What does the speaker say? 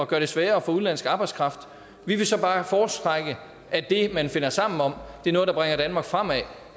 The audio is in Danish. gøre det sværere at få udenlandsk arbejdskraft vi vil så bare foretrække at det man finder sammen om er noget der bringer danmark fremad og